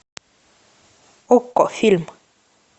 окко фильм